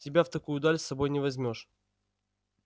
тебя в такую даль с собой не возьмёшь